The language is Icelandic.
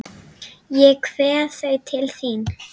Ég kveð þau til þín.